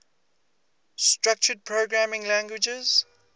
structured programming languages